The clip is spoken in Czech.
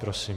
Prosím.